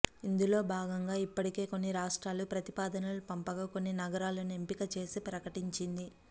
ఇందులో భాగంగా ఇప్పటికే కొన్ని రాష్ట్రాలు ప్రతిపాదనలు పంపగా కొన్ని నగరాలను ఎంపిక చేసి ప్రకటించింది